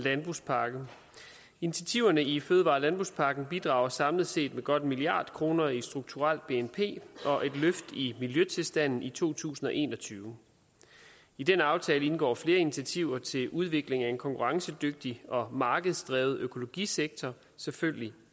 landbrugspakke initiativerne i fødevare og landbrugspakken bidrager samlet set med godt en milliard kroner i strukturelt bnp og et løft i miljøtilstanden i to tusind og en og tyve i den aftale indgår flere initiativer til udvikling af en konkurrencedygtig og markedsdrevet økologisektor selvfølgelig